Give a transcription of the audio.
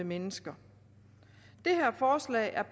mennesker det her forslag er